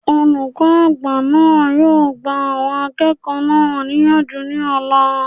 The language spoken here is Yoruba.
Olùkọ́ àgbà náà yóò gba àwọn akẹ́kọ̀ọ́ náà níyànjú ní ọ̀la